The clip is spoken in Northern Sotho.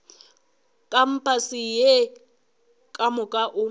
kampase ye ka moka o